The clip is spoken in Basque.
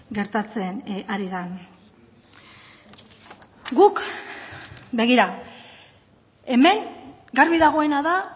gertatzen ari den guk begira hemen garbi dagoena da